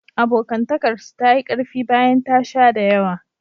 Abokantakarsu ta yi ƙarfi bayan ta sha da yawa.